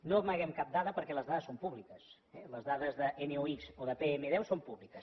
no amaguem cap dada perquè les dades són públiques les dades de nopm10 són públiques